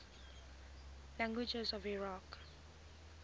languages of iraq